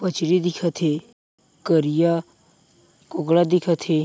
मछरी दिखत हे करिआ कुगड़ा दिखत हे।